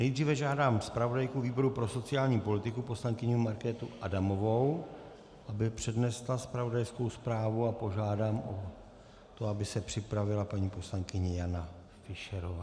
Nejdříve žádám zpravodajku výboru pro sociální politiku poslankyni Markétu Adamovou, aby přednesla zpravodajskou zprávu, a požádám o to, aby se připravila paní poslankyně Jana Fischerová.